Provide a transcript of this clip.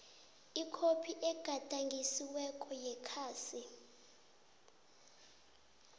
ikhophi egadangisiweko yekhasi